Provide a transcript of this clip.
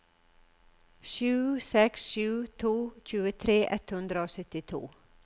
sju seks sju to tjuetre ett hundre og syttito